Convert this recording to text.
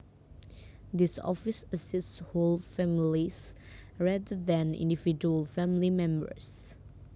This office assists whole families rather than individual family members